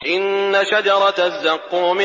إِنَّ شَجَرَتَ الزَّقُّومِ